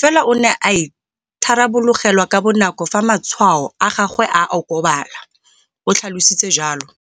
fela o ne a itharabologelwa ka bonako fa matshwao a gagwe a okobala, o tlhalositse jalo.